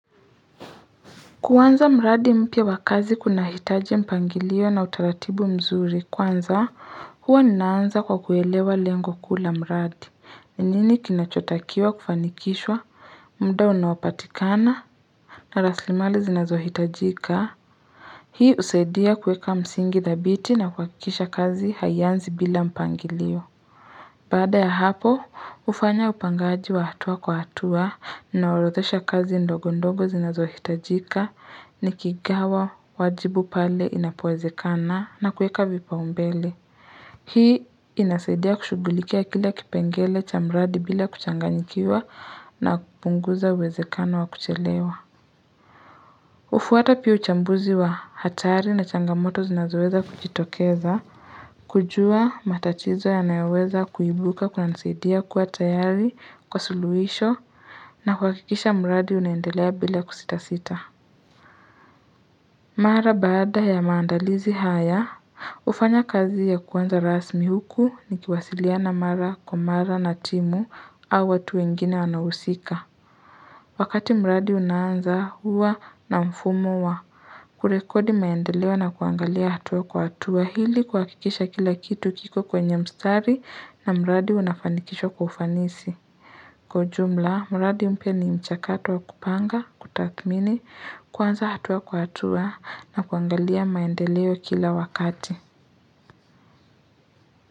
Kuanza mradi mpya wa kazi kunahitaji mpangilio na utaratibu mzuri. Kwanza huwa ninaanza kwa kuelewa lengo kuu la mradi. Ni nini kinachotakiwa kufanikishwa, muda unaopatikana na rasilimali zinazohitajika. Hii husaidia kuweka msingi thabiti na kuhakikisha kazi haianzi bila mpangilio. Baada ya hapo, hufanya upangaji wa hatua kwa hatua, ninaorothesha kazi ndogo ndogo zinazohitajika, nikigawa wajibu pale inapowezekana na kuweka vipaumbele. Hii inasaidia kushugulikia kila kipengele cha mradi bila kuchanganyikiwa na kupunguza uwezekano wa kuchelewa. Hufuata pia uchambuzi wa hatari na changamoto zinazoweza kujitokeza. Kujua matatizo yanayayoweza kuimbuka kunanisaidia kuwa tayari kwa suluhisho na kuhakikisha mradi unaendelea bila kusitasita. Mara baada ya maandalizi haya, hufanya kazi ya kwanza rasmi huku nikiwasiliana mara kwa mara na timu au watu wengine wanaohusika. Wakati mradi unaanza, huwa na mfumo wa kurekodi maendeleo na kuangalia hatua kwa hatua ili kuhakikisha kila kitu kiko kwenye mstari na mradi unafanikishwa kwa ufanisi. Kwa jumla, mradi mpya ni mchakato wa kupanga, kutathmini, kwanza hatua kwa hatua na kuangalia maendeleo kila wakati.